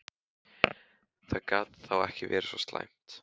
Það gat þá ekki verið svo slæmt.